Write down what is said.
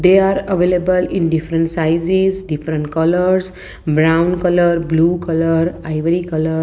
they are available in different sizes different colours brown colour blue colour ivory colour.